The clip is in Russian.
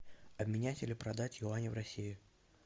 обменять или продать юани в россии